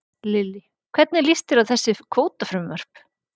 Lillý: Hvernig líst þér á þessi kvótafrumvörp?